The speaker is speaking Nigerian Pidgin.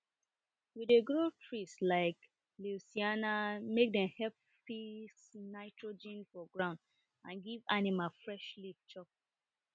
we dey grow trees like leucaena make dem help fix nitrogen for ground and give animals fresh leaf chop